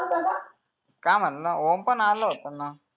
काय म्हणलं ओम पण आला होता ना